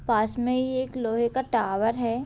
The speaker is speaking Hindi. पास में इ एक लोहे का टॉवर है।